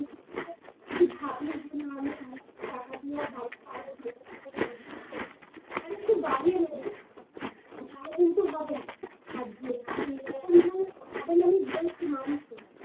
তুই যে ভাবলি যে না আর কিছু টাকা দিয়ে বাড়িটা আরো ভালো করে করবো, আরেকটু বাড়িয়ে নিবি তাহলে কিন্তু হবে না আর যেখানে এরকম ধর হবে না আমি বলছি মানছি